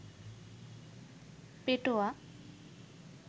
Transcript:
পেটোয়া